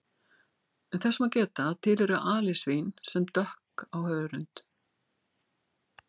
Þess má geta að til eru alisvín sem dökk á hörund.